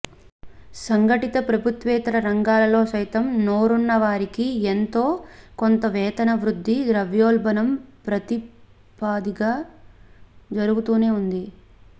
సంఘటిత ప్రభుత్వేతర రంగాలలో సైతం నోరున్న వారికి ఎంతో కొంత వేతన వృద్ధి ద్రవ్యోల్బణం ప్రాతిపదిగా జరుగుతూనే ఉంది